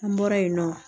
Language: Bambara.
An bɔra yen nɔ